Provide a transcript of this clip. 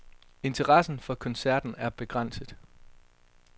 Interessen for koncerten er begrænset.